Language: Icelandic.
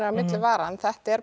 milli vara en þetta er